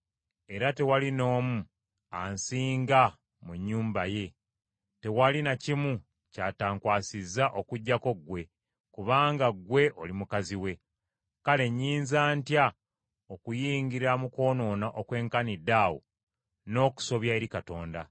era tewali n’omu ansinga mu nnyumba ye, tewali na kimu ky’atankwasa okuggyako ggwe, kubanga ggwe oli mukazi we. Kale nnyinza ntya okuyingira mu kwonoona okwenkanidde awo n’okusobya eri Katonda?”